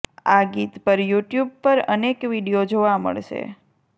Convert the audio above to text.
આ ગીત પર યુટ્યુબ પર અનેક વીડિયો જોવા મળશે